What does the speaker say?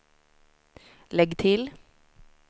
lägg till